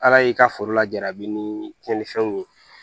Ala y'i ka foro lajabi ni tiɲɛnifɛnw ye